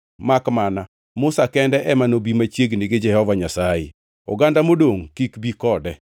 makmana Musa kende ema nobi machiegni gi Jehova Nyasaye. Oganda modongʼ kik bi kode.”